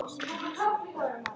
Á honum virtist brotið.